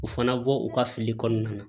U fana bɔ u ka fili kɔnɔna na